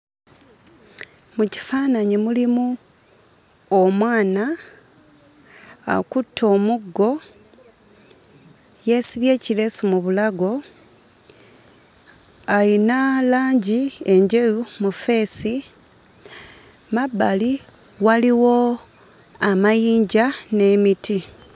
Mu kifaananyi mulimu omwana. Akutte omuggo, yeesibye ekireesu mu bulago, ayina langi enjeru mu ffeesi, mu mabbali waliwo amayinja n'emiti.